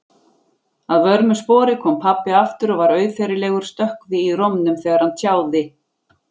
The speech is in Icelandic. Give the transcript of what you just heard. Að vörmu spori kom pabbi aftur og var auðheyrilegur stökkvi í rómnum þegar hann tjáði